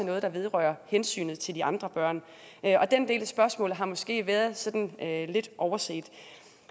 noget der vedrører hensynet til de andre børn og den del af spørgsmålet har måske været sådan lidt overset